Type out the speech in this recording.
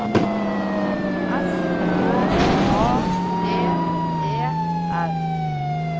S K A D E R